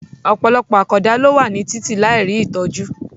Ọ̀pọ̀lọpọ̀ àkàndá ló wà ní títì láì rí ìtọ́jú